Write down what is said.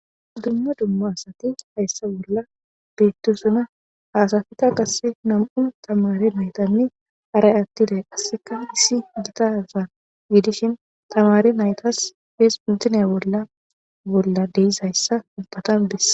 Dumma dumma asati hayssa bolla beettusuna haasafika qasse nam'un tamare meetanni aray attiday qasseka issi gitaza giidishin tamare naytas fees puntinea bolla bolla deizayssa ubbatan bes.